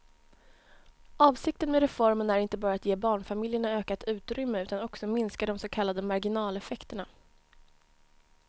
Avsikten med reformen är inte bara att ge barnfamiljerna ökat utrymme utan också minska de så kallade marginaleffekterna.